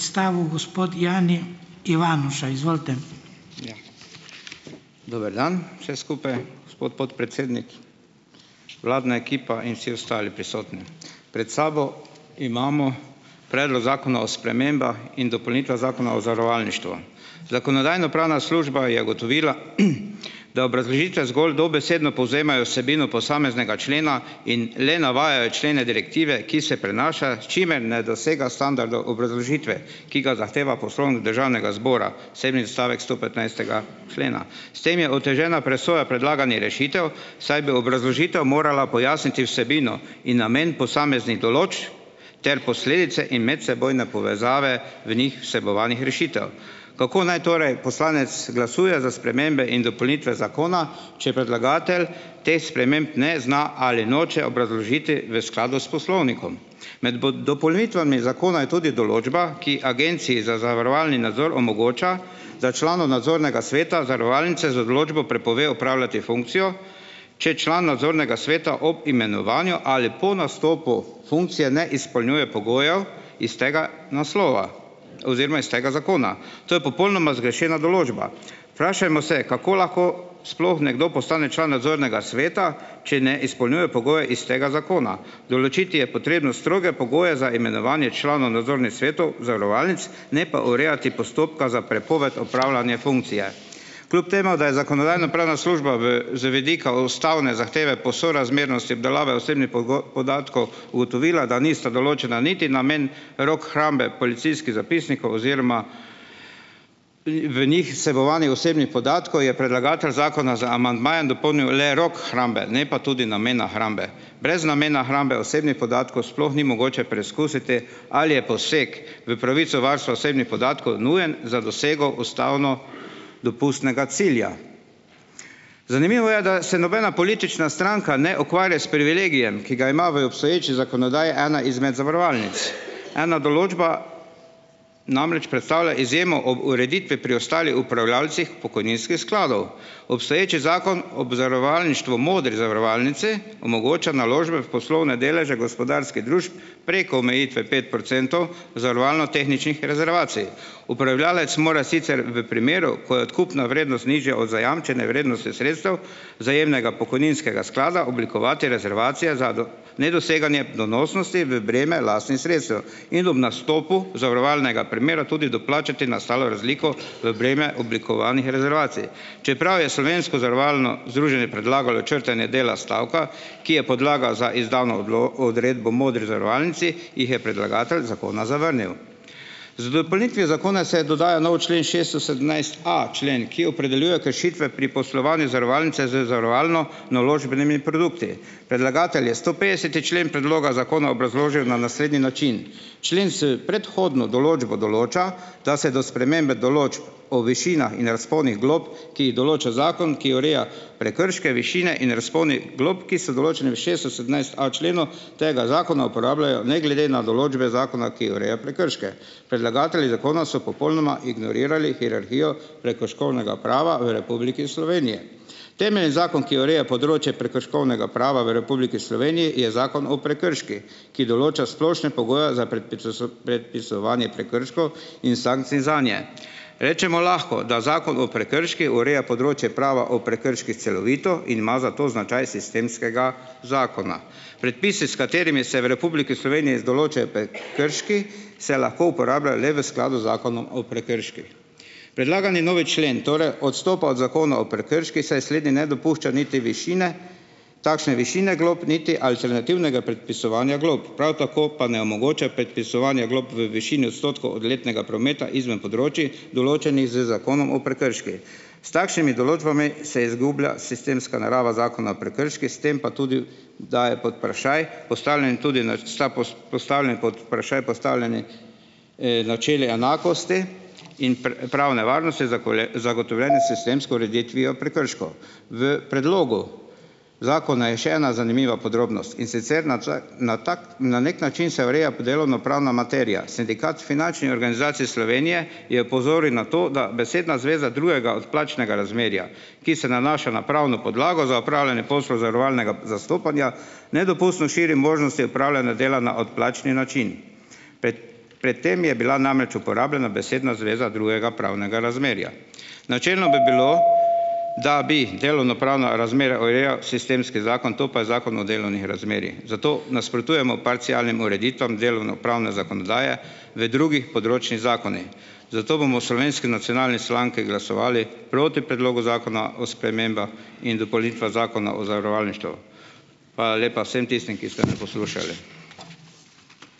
Dober dan vsem skupaj! Gospod podpredsednik, vladna ekipa in vsi ostali prisotni! Pred sabo imamo Predlog zakona o spremembah in dopolnitvah Zakona o zavarovalništvu. Zakonodajno-pravna služba je ugotovila , da obrazložitve zgolj dobesedno povzemajo vsebino posameznega člena in le navajajo člene direktive, ki se prenaša, s čimer ne dosega standardov obrazložitve, ki ga zahteva Poslovnik Državnega zbora, sedmi odstavek stopetnajstega člena. S tem je otežena presoja predlaganih rešitev, saj bi obrazložitev morala pojasniti vsebino in namen posameznih določb ter posledice in medsebojne povezave v njih vsebovanih rešitev. Kako naj torej poslanec glasuje za spremembe in dopolnitve zakona, če predlagatelj teh sprememb ne zna ali noče obrazložiti v skladu s poslovnikom. Med dopolnitvami zakona je tudi določba, ki Agenciji za zavarovalni nadzor omogoča, da članu nadzornega sveta zavarovalnice z odločbo prepove opravljati funkcijo, če član nadzornega sveta ob imenovanju ali po nastopu funkcije ne izpolnjuje pogojev iz tega naslova oziroma iz tega zakona. To je popolnoma zgrešena določba Vprašajmo se: kako lahko sploh nekdo postane član nadzornega sveta, če ne izpolnjuje pogojev iz tega zakona? Določiti je potrebno stroge pogoje za imenovanje članov nadzornih svetov zavarovalnic, ne pa urejati postopka za prepoved opravljanje funkcije. Kljub temu, da je Zakonodajno-pravna služba v z vidika v ustavne zahteve po sorazmernosti obdelave osebni podatkov ugotovila, da nista določena niti namen rok hrambe policijskih zapisnikov oziroma, v njih vsebovanih osebnih podatkov, je predlagatelj zakona z amandmajem dopolnil le rok hrambe, ne pa tudi namena hrambe. Brez namena hrambe osebnih podatkov sploh ni mogoče preskusiti ali je poseg v pravico varstva osebnih podatkov nujen za dosego ustavno dopustnega cilja. Zanimivo je, da se nobena politična stranka ne ukvarja s privilegijem, ki ga ima v obstoječi zakonodaji ena izmed zavarovalnic. Ena določba namreč predstavlja izjemo ob ureditvi pri ostalih upravljavcih pokojninskih skladov. Obstoječi zakon ob zavarovalništvu Modri zavarovalnici omogoča naložbe v poslovne deleže gospodarskih družb preko omejitve pet procentov zavarovalno-tehničnih rezervacij. Upravljavec mora sicer v primeru, ko je odkupna vrednost nižja od zajamčene vrednosti sredstev vzajemnega pokojninskega sklada, oblikovati rezervacije za nedoseganje donosnosti v breme lasnih sredstev in ob nastopu zavarovalnega primera tudi doplačati nastalo razliko v breme oblikovanih rezervacij, čeprav je slovensko zavarovalno Združenje predlagalo črtanje dela stavka, ki je podlaga za izdano odredbo Modri zavarovalnici, jih je predlagatelj zakona zavrnil. Z dopolnitvijo zakona se je dodajal nov člen šeststo sedemnajst a člen, ki opredeljuje kršitve pri poslovanju zavarovalnice z zavarovalno-naložbenimi produkti. Predlagatelj je stopetdeseti člen predloga zakona obrazložil na naslednji način. Člen s predhodno določbo določa, da se do spremembe določb o višinah in razponih glob, ki jih določa zakon, ki ureja prekrške, višine in razpone glob, ki so določeni v šeststo sedemnajst a členu tega zakona uporabljajo ne glede na določbe zakona, ki ureja prekrške. Predlagatelji zakona so popolnoma ignorirali hierarhijo prekrškovnega prava v Republiki Sloveniji. Temeljni zakon, ki ureja področje prekrškovnega prava v Republiki Sloveniji je Zakon o prekrških, ki določa splošne pogoje za predpisovanje prekrškov in sankcij zanje. Rečemo lahko, da Zakon o prekrških ureja področje prava o prekrških celovito in ima zato značaj sistemskega zakona. Predpisi, s katerimi se v Republiki Sloveniji z določajo prekrški, se lahko uporabljajo le v skladu z Zakonom o prekrških. Predlagani novi člen torej odstopa od Zakona o prekrških, saj slednji ne dopušča niti višine takšne višine glob, niti alternativnega predpisovanja glob, prav tako pa ne omogoča predpisovanje glob v višini odstotkov od letnega prometa izven področij, določenih z zakonom o prekrških. S takšnimi določbami se izgublja sistemska narava Zakona o prekrških, s tem pa tudi da je pod vprašaj postavljen je tudi na postavljen pod vprašaj postavljene, načeli enakosti in pravne varnosti, zagotovljene s sistemsko ureditvijo prekrškov. V predlogu zakona je še ena zanimiva podrobnost, in sicer nadvse na tako na neki način se ureja delovnopravna materija. Sindikat finančnih organizacij Slovenije je opozoril na to, da besedna zveza "drugega odplačnega razmerja", ki se nanaša na pravno podlago za opravljanje poslov zavarovalnega zastopanja, nedopustno širi možnosti opravljanja dela na odplačni način, pred pred tem je bila namreč uporabljena besedna zveza "drugega pravnega razmerja". Načelno bi bilo, da bi delovnopravna razmerja urejal sistemski zakon, to pa je Zakon o delovnih razmerjih. Zato nasprotujemo parcialnim ureditvam delovnopravne zakonodaje v drugih področnih zakonih. Zato bomo v Slovenski nacionalni stranki glasovali proti Predlogu zakona o sprememba in dopolnitvah Zakona o zavarovalništvu. Hvala lepa vsem tistim, ki ste me poslušali.